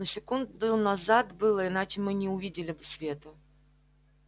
но секунду назад было иначе мы не увидели бы света